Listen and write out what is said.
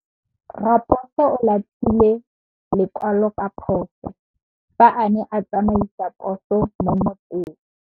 Raposo o latlhie lekwalô ka phosô fa a ne a tsamaisa poso mo motseng.